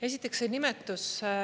Esiteks, see nimetus.